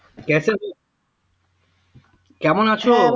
কেমন আছো